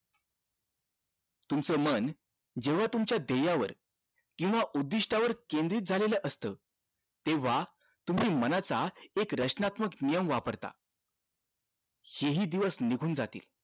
तुमचं मन केवळ तुमच्या ध्येया वर केंव्हा उद्दिष्ट वर केंद्रित झालेलं असत तेंव्हा तुम्ही मनाचं एक रचनात्मक नियम वापरता हे हि दिवस निघून जातील